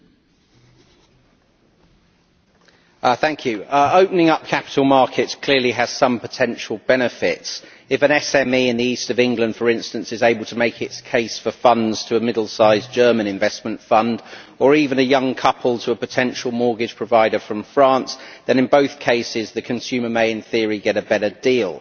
Mr President, opening up capital markets clearly has some potential benefits. If an SME in the east of England, for instance, is able to make its case for funds to a middle sized German investment fund, or even if a young couple can make their case to a potential mortgage provider from France, then in both cases the consumer may, in theory, get a better deal.